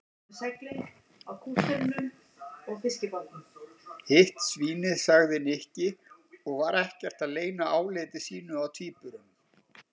Hitt svínið sagði Nikki og var ekkert að leyna áliti sínu á tvíburunum.